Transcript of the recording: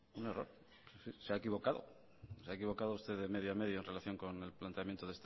un error se ha equivocado se ha equivocado usted de media a media en relación con el planteamiento